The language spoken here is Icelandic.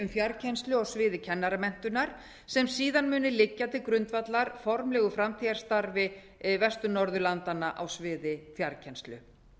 um fjarkennslu á sviði kennaramenntunar sem síðan muni liggja til grundvallar formlegu framtíðarsamstarfi vestur norðurlandanna á sviði fjarkennslu